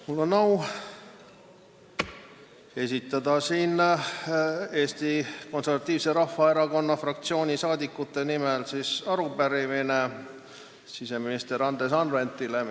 Mul on au esitada Eesti Konservatiivse Rahvaerakonna fraktsiooni saadikute nimel arupärimine siseminister Andres Anveltile.